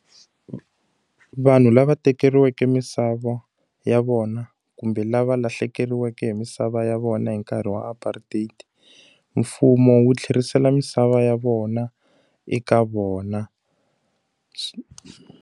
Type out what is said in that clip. Vanhu lava tekeriweke misava ya vona kumbe lava lahlekeriweke hi misava ya vona hi nkarhi wa apartheid, mfumo wu tlherisela misava ya vona eka vona.